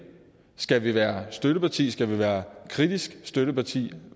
skal være støtteparti skal være kritisk støtteparti